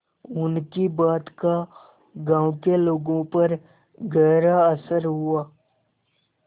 उनकी बात का गांव के लोगों पर गहरा असर हुआ